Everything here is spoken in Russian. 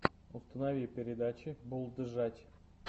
установи передачи булджать